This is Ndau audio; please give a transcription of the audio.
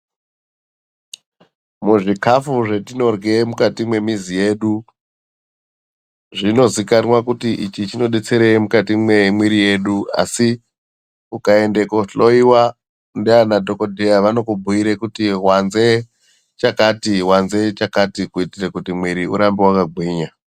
Muzvikafu zvetinorye mukati mwemuzi yedu zvinozikanwa kuti ichi chinodetsere mukati mwemwiri yedu asi ukaende kohloiwa ndiana dhokodheya vanokubhuire kuti wanze chakati wanze chakati kuitire kuti mwiri urambe wakagwinya.